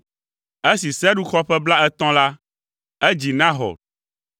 Esi Serug xɔ ƒe blaetɔ̃ la, edzi Nahor.